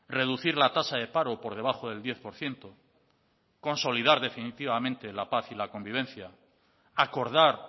reducir la tasa de paro por debajo del diez por ciento consolidar definitivamente la paz y la convivencia acordar